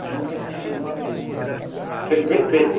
A junta continua a mesma, sendo bem feita.